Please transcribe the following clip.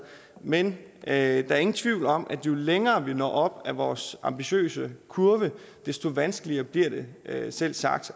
men er ingen tvivl om at jo længere vi når op ad vores ambitiøse kurve desto vanskeligere bliver det selvsagt